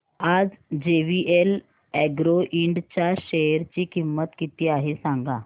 आज JVL agro ind च्या share ची किंमत किती आहे सांगा